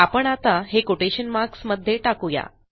आपण आता हे कोटेशन मार्क्स मध्ये टाकू या